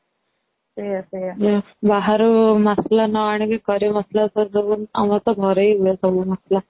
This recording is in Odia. ବାହାରୁ ମସଲା ନ ଆଣିକି ଘରେ ମସଲା ସବୁ ଆମର ତ ଘରେ ହି ହୁଏ ସବୁ ମସଲା